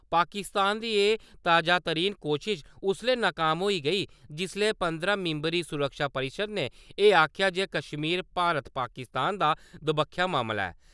पाकिस्तान दी एह् ताजातरीन कोशश उसले नाकाम होई गेई, जिसले पंदरां मिंबरी सुरक्षा परिशद ने एह् आखेआ जे कश्मीर भारत-पाकिस्तान दा दबक्खा मामला ऐ।